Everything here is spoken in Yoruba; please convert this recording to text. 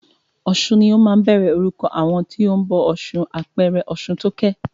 Ọ̀sun ni ó máa ń bẹ̀rẹ̀ orúkọ àwọn tí o ń bọ ọ̀ṣun, àpẹẹrẹ Ọ̀ṣuntókẹ́.